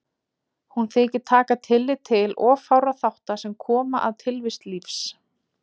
Hún þykir taka tillit til of fárra þátta sem koma að tilvist lífs.